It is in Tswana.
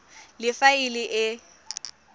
le fa e le e